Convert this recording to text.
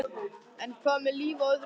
En hvað með líf á öðrum hnöttum?